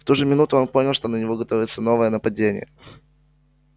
в ту же минуту он понял что на него готовится новое нападение